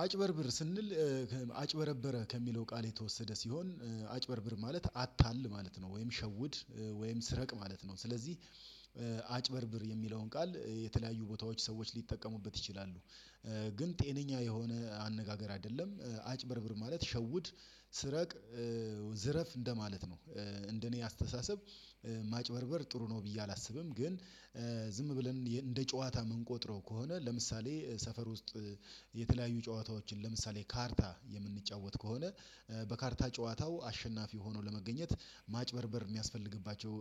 አጭበርብር ስንል አጭበረበረ ከሚለው ቃል የተወሰደ ሲሆን አጭበርብር ማለት አታል ማለት ነው ወይም ሸውድ ወይም ስረቅ ማለት ነው። ስለዚህ አጭበርብር የሚለውን ቃል የተለያዩ ቦታዎች ሰዎች ሊጠቀሙበት ይችላሉ ግን ጤነኛ የሆነ አነጋገር አይደለም አጭበርብር ማለት ሸውድ ስረቅ ዝረፍ እንደማለት ነው። እንደኔ አስተሳሰብ ማጭበርበር ጥሩ ነው ብዬ አላስብም። ግን ዝም ብለን እንደ ጨዋታ የምንቆጥረው ከሆነ ለምሳሌ ሰፈር ውስጥ የተለያዩ ጨዋታዎችን ለምሳሌ ካርታ የምንጫወት ከሆነ። በካርታ ጨዋታው አሸናፊ ሆኖ ለመገኘት ማጭበርበር የሚያስፈልግባቸው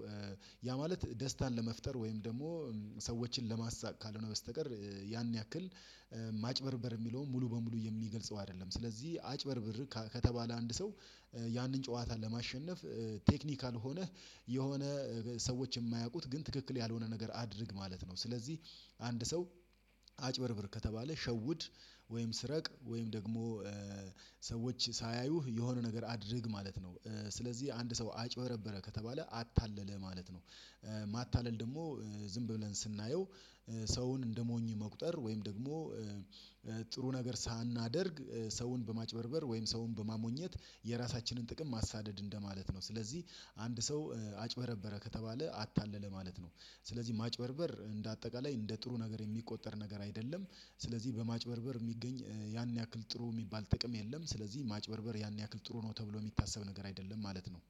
ያ ማለት ደስታን ለመፍጠር ወይም ደሞ ሰዎችን ለማሳቅ ካልሆነ በስተቀር ያን ያክል ማጭበርበር የሚለውን ሙሉ በሙሉ የሚገልጸው አይደለም። ስለዚህ አጭበርብር ከተባለ አንድ ሰው ያንን ጨዋታ ለማሸነፍ ቴክኒካል ሆነህ የሆነ ሰዎች የማያውቁት ግን ትክክል ያልሆነ ነገር አድርግ ማለት ነው። ስለዚህ አንድ ሰው አጭበርብር ከተባለ ሸውድ ወይም ስረቅ ወይም ደግሞ ሰዎች ሳያዩህ የሆነ ነገር አድርግ ማለት ነው። ስለዚህ አንድ ሰው አጭበረበረ ከተባለ አታለለ ማለት ነው። ደግሞ ዝም ብለን ስናየው ሰውን እንደሞኝ መቁጠር ወይም ደግሞ ጥሩ ነገር ሳናደርግ ሰውን በማጭበርበር ወይም ሰውን በማሞኘት የራሳችንን ጥቅም ማሳደድ እንደማለት ነው። ስለዚህ አንድ ሰው አጭበረበረ ከተባለ አታለለ ማለት ነው። ስለዚህ ማጭበርበር እንደ አጠቃላይ እንደ ጥሩ ነገር የሚቆጠር ነገር አይደለም። ስለዚህ በማጭበርበር የሚገኝ ያን ያክል ጥሩ የሚባል ጥቅም የለም ስለዚህ ማጭበርበር ያን ያክል ጥሩ ነው ተብሎ የሚታሰብ ነገር አይደለም ማለት ነው